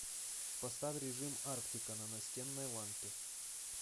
поставь режим арктика на настенной лампе